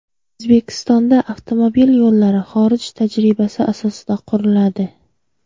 O‘zbekistonda avtomobil yo‘llari xorij tajribasi asosida quriladi.